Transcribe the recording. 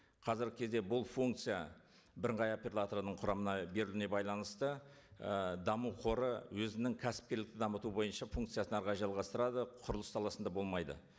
қазіргі кезде бұл функция бірыңғай оператордың құрамына беруіне байланысты ы даму қоры өзінің кәсіпкерлікті дамыту бойынша функциясын әрі қарай жалғастырады құрылыс саласында болмайды